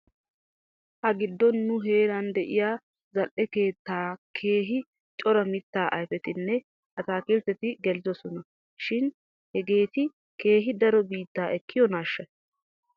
Ha giddon nu heeran de'iyaa zal'e keettaa keehi cora mittaa ayfetinne ataakiltteti gelidosona shin hegeeti keehi daro bitaa ekkiyoonaashsha ?